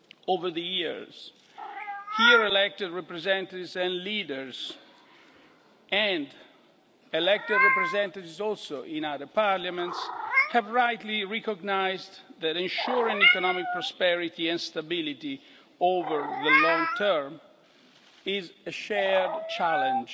Over the years here, elected representatives and leaders and elected representatives in other parliaments have rightly recognised that ensuring economic prosperity and stability over the long term is a shared challenge